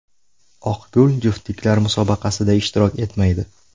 Oqgul juftliklar musobaqasida ishtirok etmaydi.